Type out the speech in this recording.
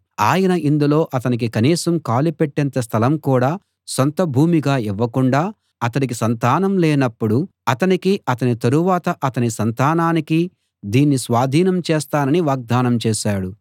ఆయన ఇందులో అతనికి కనీసం కాలుపెట్టేంత స్థలం కూడా సొంత భూమిగా ఇవ్వకుండా అతడికి సంతానం లేనపుడు అతనికీ అతని తరువాత అతని సంతానానికీ దీన్ని స్వాధీనం చేస్తానని వాగ్దానం చేశాడు